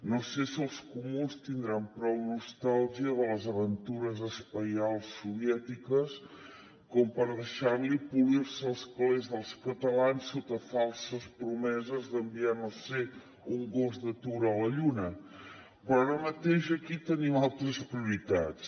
no sé si els comuns tindran prou nostàlgia de les aventures espacials soviètiques com per deixar li polir se els calés dels catalans sota falses promeses d’enviar no ho sé un gos d’atura a la lluna però ara mateix aquí tenim altres prioritats